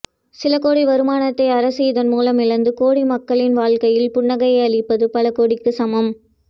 சிலகோடி வருமானத்தை அரசு இதன் மூலம் இழந்து கோடி மக்களின் வாழக்கையில் புன்னகையை அளிப்பது பல கோடிக்கு சமம்